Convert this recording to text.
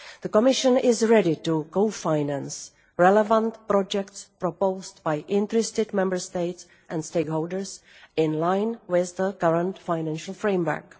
The Commission is ready to co finance relevant projects proposed by interested Member States and stakeholders in line with the current financial framework.